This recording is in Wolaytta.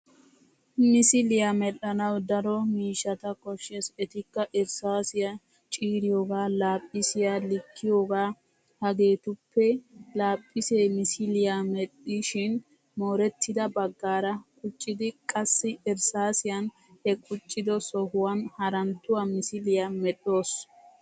Misiliya mel'anawu daro miishshata koshshes etikka irssaasiya, ciiriyoogaa, laaphphisiya, likkiyoogaa, hageetuppe laaphphis misiliya medhdhishon. moorettida baggaara quccidi qassi irssaasiyan he quccido sohuwan haranttuwa misiliyaa medhdhoos.